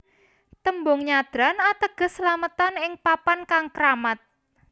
Tembung nyadran ateges slametan ing papan kang kramat